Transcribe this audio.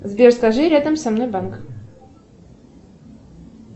сбер скажи рядом со мной банк